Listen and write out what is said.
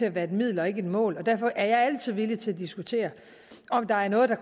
at være et middel og ikke et mål og derfor er jeg altid villig til at diskutere om der er noget der